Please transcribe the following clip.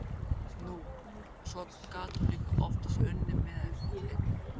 Nú, og svo gat hún líka oftast unnið eitthvað með.